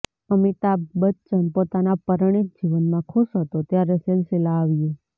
અમિતાભ બચ્ચન પોતાના પરણિત જીવનમાં ખુશ હતો ત્યારે સિલસિલા આવ્યું